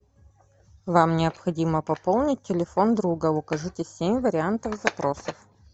вам необходимо пополнить телефон друга укажите семь вариантов запросов